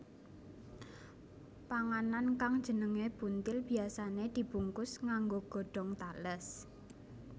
Panganan kang jenengé buntil biyasané dibungkus nganggo godhong tales